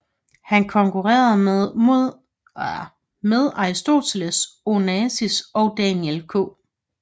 Han konkurrerede med Aristoteles Onassis og Daniel K